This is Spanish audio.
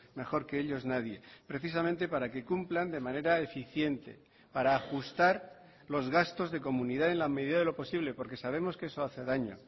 mejor que ellos nadie precisamente para que cumplan de manera eficiente para ajustar los gastos de comunidad en la medida de lo posible porque sabemos que eso hace daño